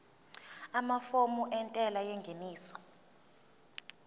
amafomu entela yengeniso